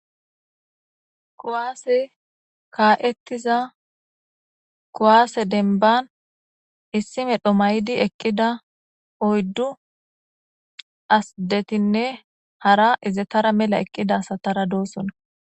Kuwaasey kaa7ettiza kuwaase dembban issi medho mayidi eqqida oyddu addetinne hara izetara mela eqqida asataradoosona.